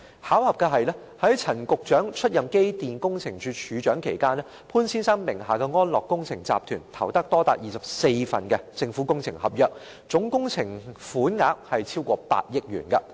巧合的是，在陳局長出任機電工程署署長期間，潘先生名下的安樂工程集團投得多達24份政府工程合約，總工程款額超過8億元。